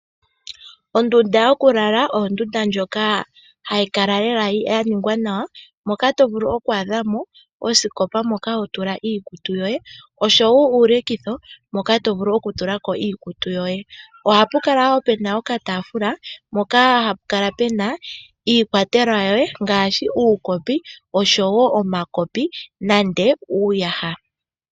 Ondunda yokulala oyo ondunda ndjoka hayi kala yaningwa nawa moka to vulu oku adha mo osikopa moka hotula iikutu oshowo uulekitho hoka tovulu okutula ko iikutu yoye . Ohapu kala woo puna okataafula mpoka hapu kala puna iikwatelwa yoye ngaashi uukopi oshowo omakopi nande uuyaha.